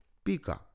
Pika.